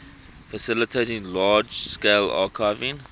facilitating large scale archiving